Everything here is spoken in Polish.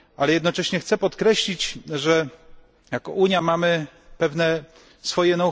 Jednocześnie chcę podkreślić, że jako Unia mamy pewne swoje